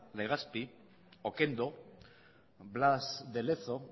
legazpi okendo blas de lezo